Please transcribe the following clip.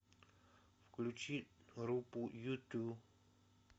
включи группу юту